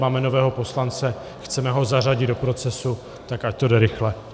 Máme nového poslance, chceme ho zařadit do procesu, tak ať to jde rychle.